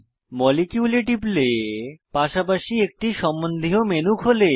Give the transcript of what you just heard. molecule এ টিপলে পাশাপাশি একটি সম্বন্ধীয় মেনু খোলে